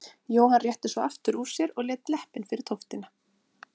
Jóhann rétti svo aftur úr sér og lét leppinn fyrir tóftina.